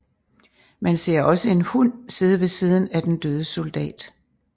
Man ser også en hund sidde ved siden af den døde soldat